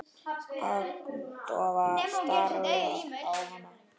Agndofa stari ég á hana.